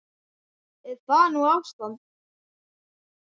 Er það nú ástand!